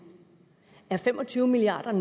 er fem og tyve milliard